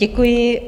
Děkuji.